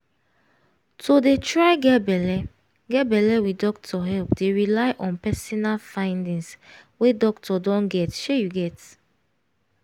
to dey try get belle get belle with doctor help dey rely on personal findings wey doctor don get shey you get